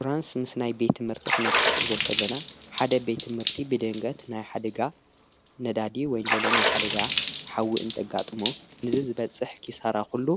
ሽራንስ ምስ ናይ ቤት ምህርቲ ኽነታሕ ዘከለና ሓደ ቤቲ ምህርቲ ብድንገት ናይ ሓደጋ ነዳድ ወይንለለናይ ሓደጋ ሓዊእእንተጋጥሞ ንዝ ዝበጽሕ ኪሳራ ዂሉ